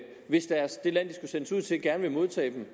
hvis det land de skulle sendes ud til gerne vil modtage dem